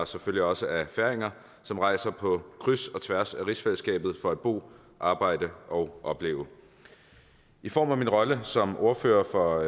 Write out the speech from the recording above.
selvfølgelig også af færinger som rejser på kryds og tværs af rigsfællesskabet for at bo arbejde og opleve i form af min rolle som ordfører for